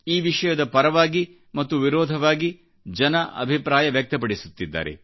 ಈವಿಷಯದ ಪರವಾಗಿ ಮತ್ತು ವಿರೋಧವಾಗಿ ಜನರು ಅಭಿಪ್ರಾಯ ವ್ಯಕ್ತಪಡಿಸುತ್ತಿದ್ದಾರೆ